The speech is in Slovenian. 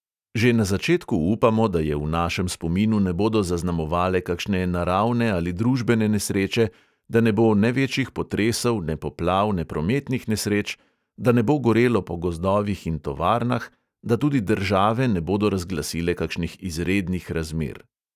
Že na začetku upamo, da je v našem spominu ne bodo zaznamovale kakšne naravne ali družbene nesreče, da ne bo ne večjih potresov, ne poplav, ne prometnih nesreč, da ne bo gorelo po gozdovih in tovarnah, da tudi države ne bodo razglasile kakšnih izrednih razmer.